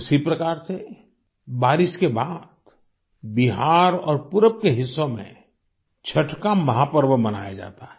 उसी प्रकार से बारिश के बाद बिहार और पूरब के हिस्सों में छठ का महापर्व मनाया जाता है